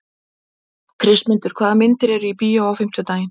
Kristmundur, hvaða myndir eru í bíó á fimmtudaginn?